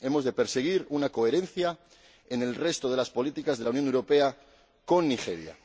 Hemos de perseguir una coherencia en el resto de las políticas de la Unión Europea con Nigeria.